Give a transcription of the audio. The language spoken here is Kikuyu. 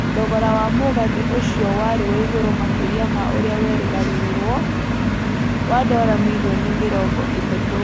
Thogora wa mũgathĩ ũcio warĩ wa igũrũ makĩria ma ũrĩa werĩgagĩrĩrũo, wa dora mirioni mĩrongo ĩtatũ.